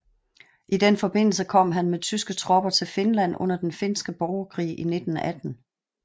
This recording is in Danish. I den forbindelse kom han med tyske tropper til Finland under den finske borgerkrig i 1918